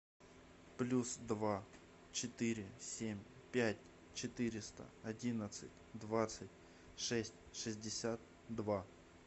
плюс два четыре семь пять четыреста одиннадцать двадцать шесть шестьдесят два